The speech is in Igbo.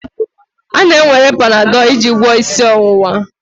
A na-ewere Panadol iji gwọọ isi ọwụwa.